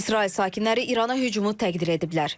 İsrail sakinləri İrana hücumu təqdir ediblər.